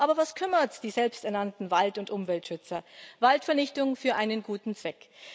Aber was kümmert es die selbsternannten Wald und Umweltschützer Waldvernichtung für einen guten Zweck.